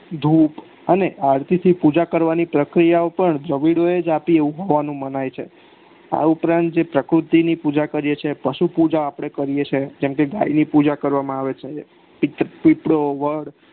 અને જેતે પૂજા કરવાની પ્રકિયા ઓ પણ દવીડો એજ આપી એવું મનાય છે આ ઉપરાંત જે પ્રકૃતિ ની પૂજા કરીએ છીએ પશુ પૂજા આપડે કરીએ છીએ જેમકે ગાયની પૂજા કરવામાં આવે છે પીપળો વડ